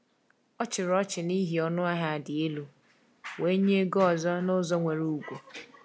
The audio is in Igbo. O chịrị ọchị n’ihi ọnụahịa dị elu, wee nye ego ọzọ n’ụzọ nwere ugwu.